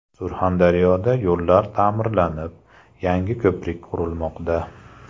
Surxondaryoda yo‘llar ta’mirlanib, yangi ko‘prik qurilmoqda.